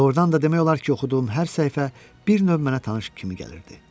Doğrudan da demək olar ki, oxuduğum hər səhifə bir növ mənə tanış kimi gəlirdi.